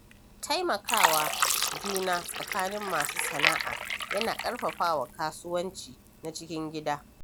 Taimaka wa juna tsakanin masu sana'a yana ƙarfafa kasuwanci na cikin gida.